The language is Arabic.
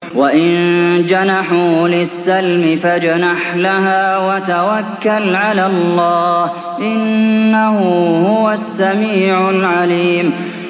۞ وَإِن جَنَحُوا لِلسَّلْمِ فَاجْنَحْ لَهَا وَتَوَكَّلْ عَلَى اللَّهِ ۚ إِنَّهُ هُوَ السَّمِيعُ الْعَلِيمُ